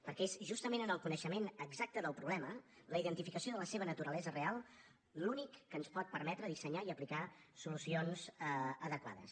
perquè és justament el coneixement exacte del problema la identificació de la seva naturalesa real l’únic que ens pot permetre dissenyar i aplicar solucions adequades